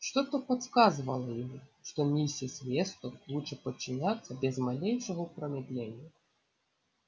что-то подсказывало ему что миссис вестон лучше подчиняться без малейшего промедления